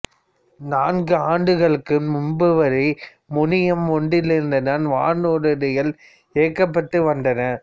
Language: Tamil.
நான்கு ஆண்டுகளுக்கு முன்பு வரை முனையம் ஒன்றிலிருந்துதான் வானூர்திகள் இயக்கப்பட்டு வந்தன